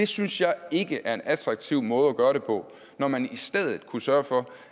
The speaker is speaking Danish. synes jeg ikke er en attraktiv måde at gøre det på når man i stedet kunne sørge for